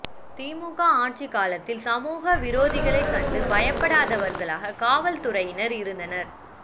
திமுக ஆட்சி காலத்தில் சமூக விரோதிகளைக் கண்டு பயப்படுபவர்களாக காவல்துறையினர் இருந்தனர்